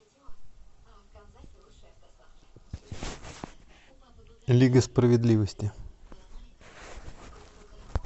лига справедливости